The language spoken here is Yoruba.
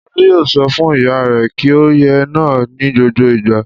Olú yóò sọ fún ìyá rẹ̀ kí ó yé nà á ní gbogbo ìgbà.